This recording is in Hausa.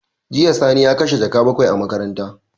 Jiya Sani ya kashe jaka bakwai a makaranta.